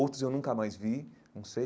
Outros eu nunca mais vi, não sei.